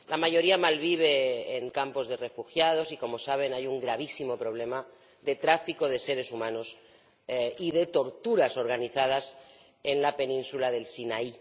La mayoría malvive en campos de refugiados y, como saben, hay un gravísimo problema de tráfico de seres humanos y de torturas organizadas en la península del Sinaí.